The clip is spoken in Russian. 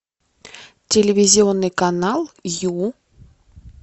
телевизионный канал ю